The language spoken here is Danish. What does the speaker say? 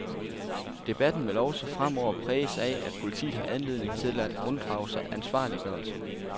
Debatten vil også fremover præges af, at politiet har anledning til at unddrage sig ansvarliggørelse.